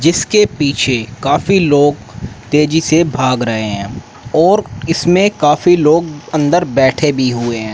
जिसके पीछे काफी लोग तेजी से भाग रहे हैं और इसमें काफी लोग अंदर बैठे भी हुए हैं।